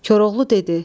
Koroğlu dedi: